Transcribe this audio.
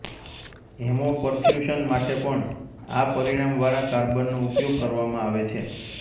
haemoperfusion માટે પણ આ પરિણામવાળા કાર્બનનો ઉપયોગ કરવામાં આવે છે